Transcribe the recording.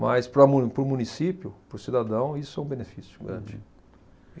Mas para mu, para o município, para o cidadão, isso é um benefício gigante.